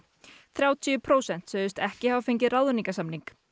þrjátíu prósent sögðust ekki hafa fengið ráðningarsamning